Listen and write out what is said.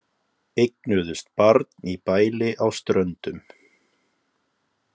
Eignuðust barn í bæli á Ströndum